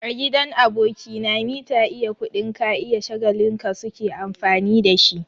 A gidan aboki na, mita iya kuɗin ka iya shagalin ka su ke amfani da shi.